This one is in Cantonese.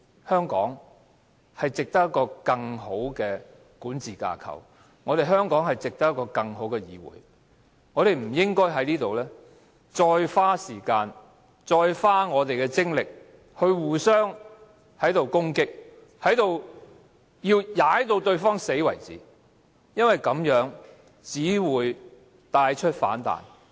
香港值得有一個更好的管治架構、香港值得有一個更好的議會，我們不應該在此再花時間和精力互相攻擊，直至把對方踩死為止，因為這樣做只會造成反彈。